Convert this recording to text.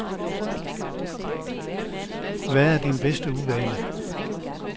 Hvad er din bedste uvane?